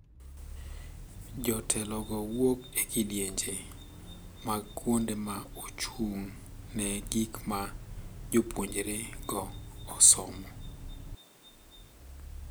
Jotelo go wuok e kidienje mag kuonde ma ochung` ne gik ma jopuonjre go osomo.